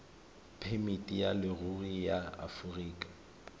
phemiti ya leruri ya aforika